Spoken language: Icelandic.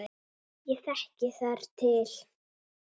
Ég þekki þar til.